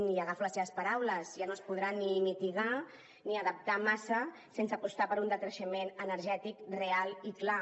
i agafo les seves paraules ja no es podrà ni mitigar ni adaptar massa sense apostar per un decreixement energètic real i clar